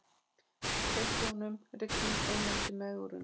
Tilboðunum rignir inn eftir megrunina